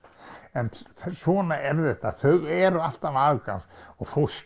en svona er þetta þau eru alltaf afgangs og fólk